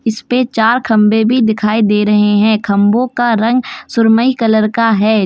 इस पे चार खंबे भी दिखाई दे रहे हैं खंभों का रंग सुरमई कलर का है।